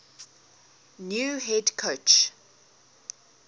new head coach